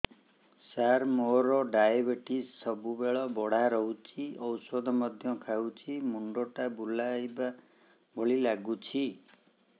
ସାର ମୋର ଡାଏବେଟିସ ସବୁବେଳ ବଢ଼ା ରହୁଛି ଔଷଧ ମଧ୍ୟ ଖାଉଛି ମୁଣ୍ଡ ଟା ବୁଲାଇବା ଭଳି ଲାଗୁଛି